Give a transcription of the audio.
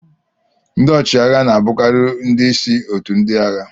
Ndị ọchịagha na-abụkarị ndị isi otu ndị agha